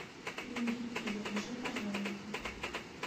крендельки закажи пожалуйста